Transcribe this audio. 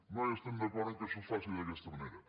no hi estem d’acord que això es faci d’aquesta manera